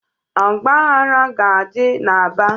Ọgbaghara ga-adị n'Aba.